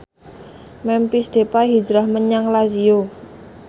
Memphis Depay hijrah menyang Lazio